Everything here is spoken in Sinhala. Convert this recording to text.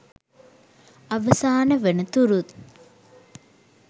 අවසාන වන තුරුත්